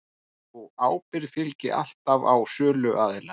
Sú ábyrgð hvíli alltaf á söluaðila